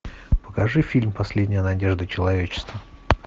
покажи фильм последняя надежда человечества